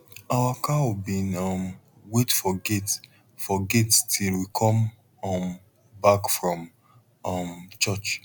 our cow bin um wait for gate for gate till we come um back from um church